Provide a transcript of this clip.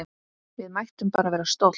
Við mættum bara vera stolt!